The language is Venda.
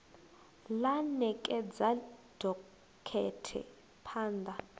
ḽa ṋekedza dokhethe phaan ḓa